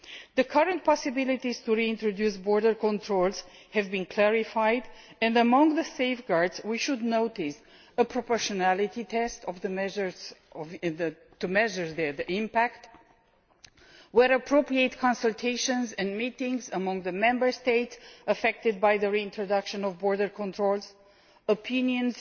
The current possibilities for reintroducing border controls have been clarified, and among the safeguards we should note a proportionality test of the impact of the measures and, where appropriate, consultations and meetings among the Member States affected by the reintroduction of border controls, and opinions